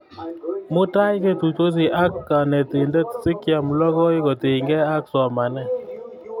Mutai ketuitosi ak kanetindet asikeam logoi kotinykey ak somanet